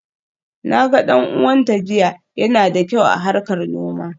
Na ga dan uwanta jiya, yana da kyau a harkar noma.